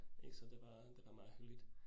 Ik så det var, det var meget hyggeligt